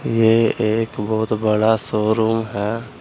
ये एक बहुत बड़ा शोरूम है।